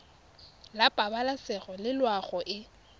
la pabalesego le loago e